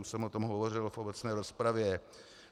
Už jsem o tom hovořil v obecné rozpravě.